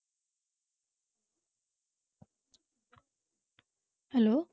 hello